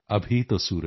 हर मुश्किल को पार कर